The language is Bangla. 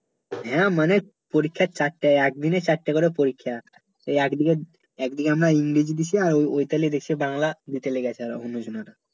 হ্যাঁ মানে পরীক্ষা চারটায় একদিনে চার টা করে পরীক্ষা এই এক দিকে এক দিকে আমরা ইংরেজী দিছি ঐ তালে দেশে বাংলা দিতে লেগেছে অন্য জনের